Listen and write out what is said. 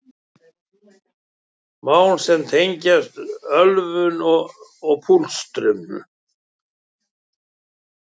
Mál sem tengjast ölvun og pústrum